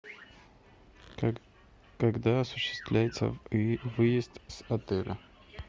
как когда осуществляется выезд с отеля